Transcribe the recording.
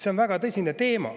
See on väga tõsine teema.